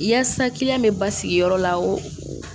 Yaasa kiliyan bɛ basigiyɔrɔ la o